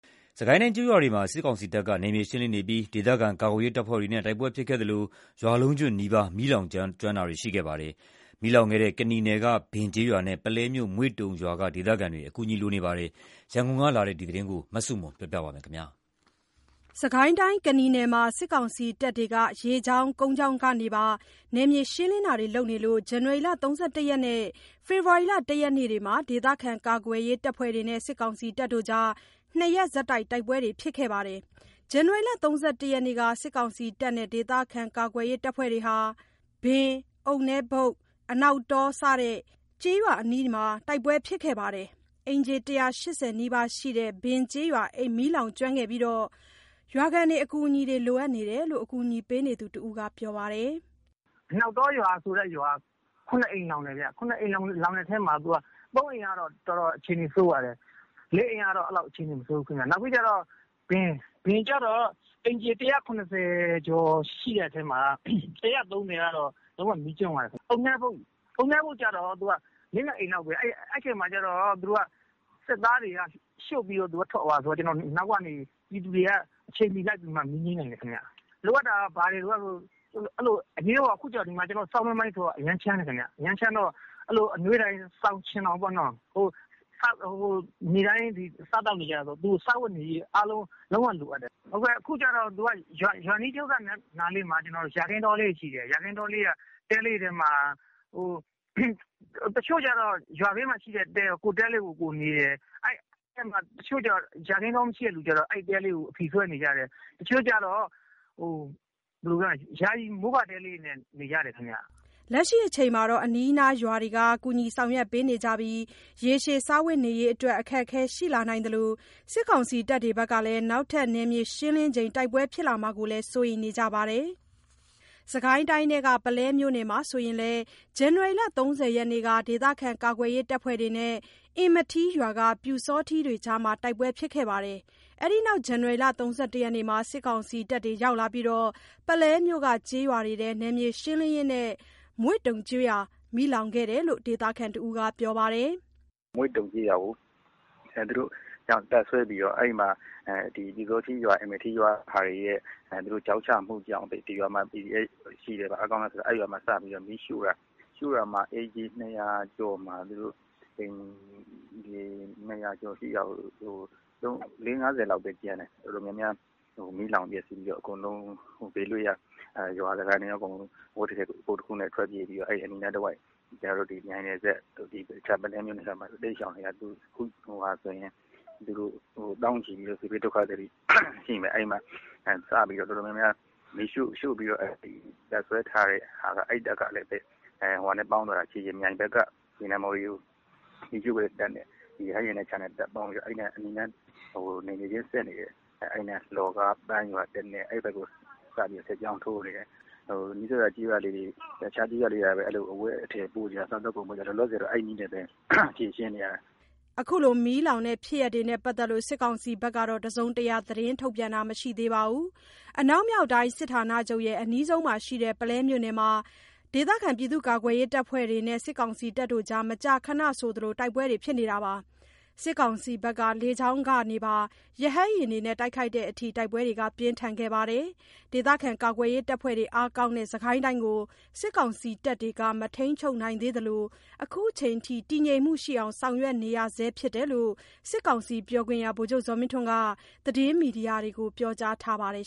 စစ်ကိုင်းတိုင်း ကျေးရွာတွေမှာ စစ်ကောင်စီတပ်က နယ်မြေရှင်းလင်းနေပြီး ဒေသခံကာကွယ်ရေး တပ်ဖွဲ့တွေနဲ့ တိုက်ပွဲဖြစ်ခဲ့သလို ရွာလုံးကျွတ်နီးပါး မီးလောင်ကျွမ်းတာတွေ ရှိခဲ့ပါတယ်။ မီးလောင်ကျွမ်းခဲ့တဲ့ ကနီနယ်က ဘင်ကျေးရွာနဲ့ ပုလဲမြို့၊ မွေ့တုံရွာက ဒေသခံတွေ အကူအညီ လိုအပ်နေပါတယ်။ ရန်ကုန်ကလာတဲ့ ဒီသတင်းကို မဆုမွန်က တင်ပြပေးထားပါတယ်။ စစ်ကိုင်းတိုင်း ကနီနယ်မှာ စစ်ကောင်စီတပ်တွေဟာ ရေကြောင်း၊ ကုန်းကြောင်းကနေပါ နယ်မြေရှင်းလင်းတာတွေလုပ်လို့ ဇန်နဝါရီ ၃၁ ရက်နဲ့ ဖေဖော်ဝါရီ ၁ ရက်တို့မှာ ဒေသခံကာကွယ်ရေး တပ်ဖွဲ့တွေနဲ့ ၂ ရက်ဆက်တိုက် တိုက်ပွဲတွေ ဖြစ်ခဲ့ပါတယ်။ ဇန်နဝါရီ ၃၁ ရက်က စစ်ကောင်စီနဲ့ ဒေသခံကာကွယ်ရေး တပ်ဖွဲ့တို့ဟာ ဘင်၊ အုတ်နဲဘုတ်၊ အနောက်တော စတဲ့ ကျေးရွာအနီးမှာ တိုက် ပွဲဖြစ်ခဲ့ပြီး အိမ်ခြေ ၁၈၀ နီးပါးရှိတဲ့ ဘင်ကျေးရွာ မီးလောင်ကျွမ်းခဲ့ပြီးတော့ ရွာခံတွေ အကူအညီလိုအပ်နေတယ်လို့ အကူအညီပေးနေသူတဦးက ပြောပါတယ်။ “အနောက်တောဆိုတဲ့ရွာက ၇ အိမ်လောင်တယ်။ ၇ အိမ်လောင်တဲ့ထဲမှာ ၃ အိမ်ကတော့ အခြေအနေ တော်တော်ဆိုးပါတယ်။ ၄ အိမ် ကတော့ အဲ့လောက် အခြေအနေ မဆိုးဘူးခင်ဗျ။ ဘင်ကျတော့ အိမ်ခြေ ၁၇၀ ကျော်ရှိတဲ့ထဲမှာ ၁၃၀ ကတော့ လုံးဝ မီးကျွမ်းသွားတယ်။ အုတ်နဲဘုတ်ကျတော့ ၄/၅ အိမ်လောက်ပဲ။ အဲ့ဒီအချိန်မှာ စစ်သားတွေက ရှို့ပြီးထွက်သွားတာဆိုတော့ အနောက်ကနေ ပြည်သူတွေက အချိန်မီလိုက်ပြီး မီးငြိမ်းလိုက်နိုင်တယ်။ လိုအပ်တာက ဘာတွေလိုအပ်လဲဆိုရင် အရေးပေါ် အခု ဆောင်းတွင်းပိုင်းဆိုတော့ အရမ်းချမ်းတယ်ခင်ဗျ။ အရမ်းချမ်းတော့ အနွေးထည် စောင်၊ ခြင်ထောင်ပေါ့နော်။ နေ့တိုင်းစားသောက်နေကျတာဆိုတော့ စားဝတ်နေရေး လုံးဝလိုအပ်တယ်။ အခုကျတော့ ရွာအနီးမှာ ယာခင်းတောလေးတွေ ရှိတယ်။ ယာခင်းတဲလေးတွေပေါ့။ တချို့ကျတော့ ယာခင်းတဲလေးတွေက ကိုယ့်တဲမှာ ကိုယ်နေတယ်။ တချို့ ယာခင်းတောမရှိတဲ့သူတွေကျတော့ အဲဒီတဲလေးတွေကို အဖီဆွဲနေကြတယ်။ တချို့က ယာယီ မိုးကာတဲလေးတွေနဲ့နေကြတယ်။” လက်ရှိအချိန်မှာတော့ အနီးအနားရွာတွေက ကူညီဆောင်ရွက်ပေးနေပြီး ရေရှည် စားဝတ်နေရေးအတွက် အခက်အခဲ ရှိလာနိုင်သလို စစ်ကောင်စီတပ်တွေ နောက်ထပ်နယ်မြေရှင်းလင်းချိန် တိုက်ပွဲဖြစ်လာမှာကိုလည်း စိုးရိမ်နေကြပါတယ်။ စစ်ကိုင်းတိုင်းထဲက ပုလဲမြို့နယ်မှာဆိုရင်လည်း ဇန်နဝါရီ ၃၀ ရက်က ဒေသခံကာကွယ်ရေးတပ်ဖွဲ့တွေနဲ့ အင်မထီးရွာက ပျူစောထီးတွေကြား တိုက်ပွဲဖြစ်ခဲ့ပါတယ်။ အဲ့ဒီနောက် ဇန်နဝါရီ ၃၁ ရက်မှာ စစ်ကောင်စီတပ်တွေရောက်လာပြီး ပုလဲမြို့က ကျေးရွာတွေထဲ နယ်မြေရှင်းလင်းရင်း မွေ့တုံကျေးရွာ မီးလောင်ခဲ့တယ်လို့ ဒေသခံတဦးက ပြောပါတယ်။ “မွေ့တုံကျေးရွာမှာ တပ်စွဲပြီးတော့ အင်မထီးရွာက ပျူစောထီးတွေရဲ့ ချောက်ချမှုကြောင့် ဒီရွာမှာ PDF တွေ ရှိတယ်၊ အားကောင်းတယ် ဆိုပြီး မီးရှို့တာ။ အိမ်ခြေ ၂၀၀ ကျော်မှာ ၄၀/၅၀ လောက်ပဲကျန်တယ်။ မီးလောင်ပျက်စီးပြီးတော့ အကုန်လုံး ဘေးလွတ်ရာ အဝတ်တထည် ကိုယ်တခုနဲ့ ထွက်ပြေးပြီးတော့ အဲ့အနီး နားတဝိုက် မြိုင်နယ်စပ်ကို တိမ်းရှောင်နေရတယ်။ အခုဆိုရင် သောင်းချီပြီး စစ်ဘေးဒုက္ခသည်တွေရှိမယ်။ အခုဆို တပ်စွဲပြီး မီးရှို့တဲ့ အဲ့တပ်ကလည်း မြိုင်ဘက်က ရေနံမှော်တွေကို မီးရှို့တဲ့တပ်နဲ့ပေါင်းပြီး အဲ့အနီးနား လှော်ကား ပန်းရွာ အဲ့နယ်မြေချင်းစပ်နေတဲ့ ရွာတွေကို စစ်ကြောင်းထိုးနေတယ်။ အဲ့အနီးနားက အဝတ်အထည် စားသောက်ကုန်တွေ ကူညီရင်း အဲ့နည်းနဲ့ဖြေရှင်းနေရတယ်။” အခု မီးလောင်တဲ့ဖြစ်ရပ်တွေနဲ့ ပတ်သက်လို့ စစ်ကောင်စီက တစုံတရာ သတင်းထုတ်ပြန်တာ မရှိသေးပါဘူး။ အနောက်မြောက်တိုင်း စစ်ဌာနချုပ်နဲ့ အနီးဆုံးမှာရှိတဲ့ ပုလဲမြို့နယ်မှာ ဒေသခံကာကွယ်ရေးတပ်ဖွဲ့တွေနဲ့ စစ်ကောင်စီတပ်တွေ မကြာခဏဆိုသလို တိုက်ပွဲတွေ ဖြစ်နေပြီး စစ်ကောင်စီက လေကြောင်းကနေပါ ရဟတ်ယာဉ်တွေနဲ့ တိုက်ခိုက်တဲ့အထိ တိုက်ပွဲတွေ ပြင်းထန်ခဲ့ပါတယ်။ ဒေသခံကာကွယ်ရေးတပ်ဖွဲ့တွေ အားကောင်းတဲ့ စစ်ကိုင်းတိုင်းကို စစ်ကောင်စီတပ်တွေ မထိန်းချုပ်နိုင်သေးသလို အခုချိန်ထိ တည်ငြိမ်မှုရှိအောင် ဆောင်ရွက်နေရဆဲဖြစ်တယ်လို့ စစ်ကောင်စီပြောခွင့်ရ ဗိုလ်ချုပ်ဇော်မင်းထွန်းက သတင်းမီဒီယာတွေကို ပြောကြားထားပါတယ်